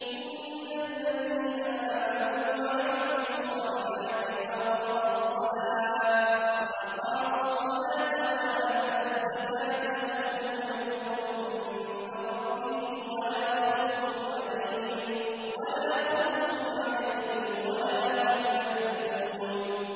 إِنَّ الَّذِينَ آمَنُوا وَعَمِلُوا الصَّالِحَاتِ وَأَقَامُوا الصَّلَاةَ وَآتَوُا الزَّكَاةَ لَهُمْ أَجْرُهُمْ عِندَ رَبِّهِمْ وَلَا خَوْفٌ عَلَيْهِمْ وَلَا هُمْ يَحْزَنُونَ